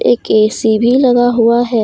एक ऐ_सी भी लगा हुआ है।